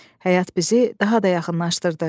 Həyat bizi daha da yaxınlaşdırdı.